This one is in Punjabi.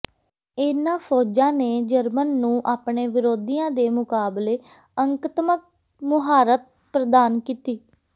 ਇਹਨਾਂ ਫ਼ੌਜਾਂ ਨੇ ਜਰਮਨ ਨੂੰ ਆਪਣੇ ਵਿਰੋਧੀਆਂ ਦੇ ਮੁਕਾਬਲੇ ਅੰਕਤਮਕ ਮੁਹਾਰਤ ਪ੍ਰਦਾਨ ਕੀਤੀ